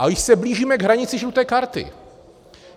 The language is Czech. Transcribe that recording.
A již se blížíme k hranici žluté karty.